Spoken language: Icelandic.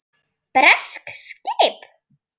Bresk skip!